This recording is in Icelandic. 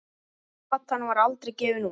Platan var aldrei gefin út.